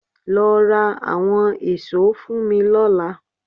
Lọ ra àwọn èso fún mi lọ́la